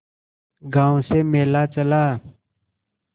गांव से मेला चला